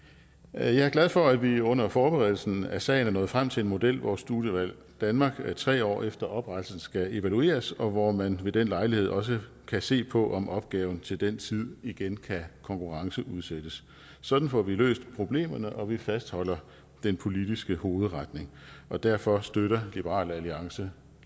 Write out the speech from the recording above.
jeg er glad for at vi under forberedelsen af sagen er nået frem til en model hvor studievalg danmark tre år efter oprettelsen skal evalueres og hvor man ved den lejlighed også kan se på om opgaven til den tid igen kan konkurrenceudsættes sådan får vi løst problemerne og vi fastholder den politiske hovedretning derfor støtter liberal alliance